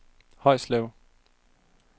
Højslev